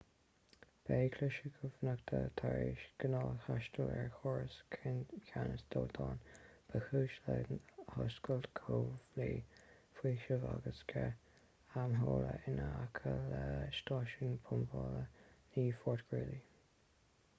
ba é cliseadh cumhachta tar éis ghnáth-thástáil ar chóras ceannais dóiteáin ba chúis le hoscailt comhlaí faoisimh agus sceith amhola in aice le stáisiún pumpála 9 fort greely